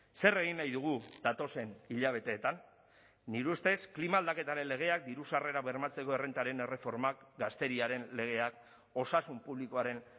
zer egin nahi dugu datozen hilabeteetan nire ustez klima aldaketaren legeak diru sarrerak bermatzeko errentaren erreformak gazteriaren legeak osasun publikoaren